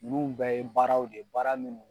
Ninnu bɛɛ ye baaraw de ye baara munnu